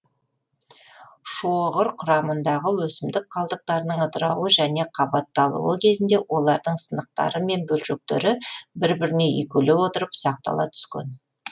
шоғыр кұрамындағы өсімдік қалдықтарының ыдырауы және қабатталуы кезінде олардың сынықтары мен бөлшектері бір біріне үйкеле отырып ұсақтала түскен